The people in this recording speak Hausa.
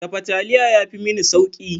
Dafa taliya ya fi mini sauƙi.